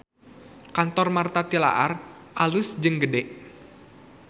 Kantor Martha Tilaar alus jeung gede